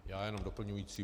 Já jenom doplňující.